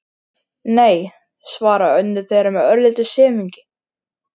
Nei, svarar önnur þeirra með örlitlum semingi.